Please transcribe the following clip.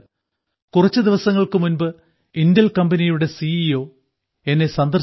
കുറച്ചു ദിവസങ്ങൾക്കു മുൻപ് ഇന്റെൽ കമ്പനിയുടെ സി ഇ ഒ എന്നെ സന്ദർശിച്ചിരുന്നു